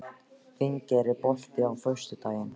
Finngeir, er bolti á föstudaginn?